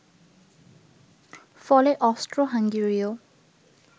ফলে অস্ট্রোহাঙ্গেরীয়